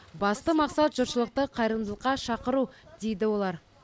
басты мақсат жұртшылықты қайырымдылыққа шақыру дейді олар